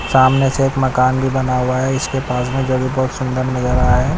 सामने से एक मकान भी बना हुआ है इसके पास में जो भी बहोत सुंदर लग रहा है।